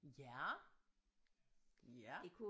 Ja ja